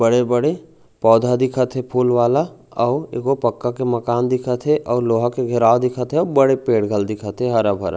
बड़े-बड़े पौधा दिखत हे फूल वाला आऊ एक गो पक्का के मकान दिखत हे आऊ लोहा के घेराव दिखत हे बड़े पेड़ घलो दिखत हे हरा-भरा--